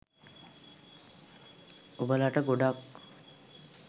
ඔබලට ගොඩක්